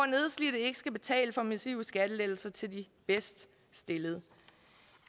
nedslidte ikke skal betale for massive skattelettelser til de bedst stillede